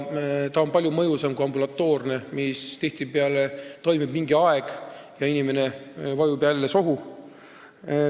See on palju mõjusam kui ambulatoorne ravi, mis tihtipeale toimib mingi aja ja siis inimene vajub jälle sohu.